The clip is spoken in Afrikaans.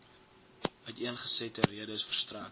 uiteengesette redes verstrek